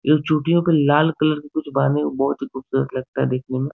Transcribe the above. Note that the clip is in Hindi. ये लोग चोटियों पे लाल कलर के कुछ बांधे है बहुत ही खूबसूरत लगता है देखने में।